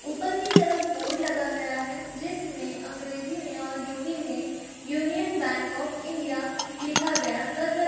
ऊपर की तरफ बोर्ड लगा गया है जिसमें अंग्रेजी में और हिंदी में यूनियन बैंक ऑफ़ इंडिया लिखा गया नजर --